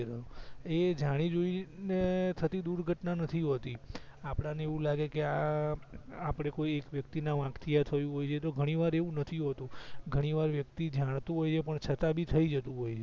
એ જાણી જોઇને થતી દુર્ઘટના નથી હોતી આપણા ને એવું લાગેકે આપણેકોઈ એક વ્યક્તિના વાંક થી થયું હોય છે તો ઘણીવાર એવું નથી હોતું ઘણીવાર વ્યક્તિ જાણતું હોય છે પણ છતાબી થઇ જતું હોય છે